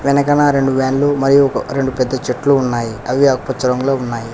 వెనకన రెండు వాన్లు మరియు రెండు పెద్ద చెట్లు ఉన్నాయి అవి ఆకుపచ్చ రంగులో ఉన్నాయి.